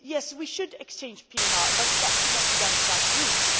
We should exchange PNR, but that should not be done without rules.